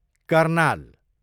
Karnal